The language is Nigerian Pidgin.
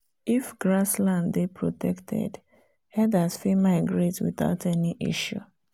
if grass land dey protected herded fit migrate without any issue